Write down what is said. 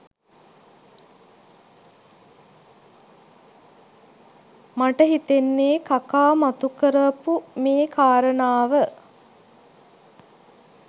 මට හිතෙන්නේ කකා මතු කරාපු මේ කාරණාව